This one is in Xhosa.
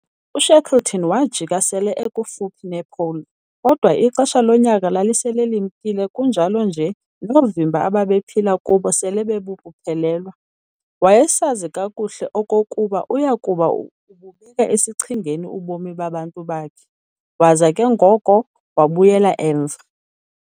U-Shackleton waajika sele ekufuphi ne'pole', kodwa ixesha lonyaka lalisele limkile kunjalo nje noovimba abaephila kubo sele bebuphelelwa. Wayesazi kakuhle okokuba uyakuba ububeka esichengeni ubomi babantu bakhe, waza ke ngoko wabuyela emva.